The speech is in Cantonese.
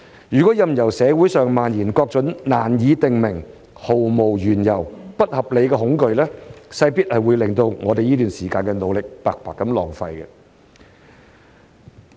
如任由社會上蔓延各種羅斯福總統所指的"難以定名、毫無緣由、不合理的恐懼"，勢必會令我們這段時間的努力白白浪費。